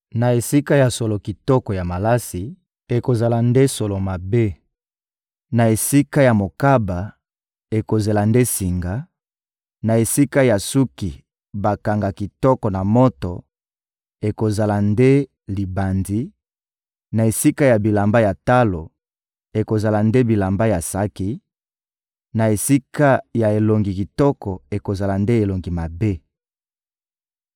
Na esika ya solo kitoko ya malasi, ekozala nde solo mabe; na esika ya mokaba, ekozela nde singa; na esika ya suki bakanga kitoko na moto, ekozala nde libandi; na esika ya bilamba ya talo, ekozala nde bilamba ya saki; na esika ya elongi kitoko, ekozala nde elongi mabe.